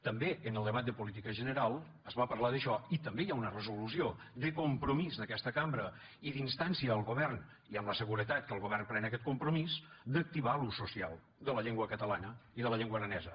també en el debat de política general es va parlar d’això i també hi ha una resolució de compromís d’aquesta cambra i d’instància al govern i amb la seguretat que el govern pren aquest compromís d’activar l’ús social de la llengua catalana i de la llengua aranesa